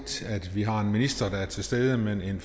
at ministeren er til stede men en